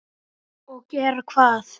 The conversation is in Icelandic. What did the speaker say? Og gera hvað?